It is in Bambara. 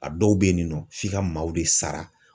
A dɔw bɛ yen nɔ f'i ka maaw de sara.